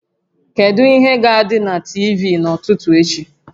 Kedu ihe ga-adị na TV n'ụtụtụ echi?